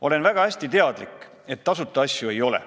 Olen väga hästi teadlik, et tasuta asju ei ole.